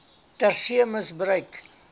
ter see misbruik